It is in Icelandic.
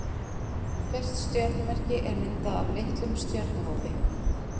Hvert stjörnumerki er myndað af litlum stjörnuhópi.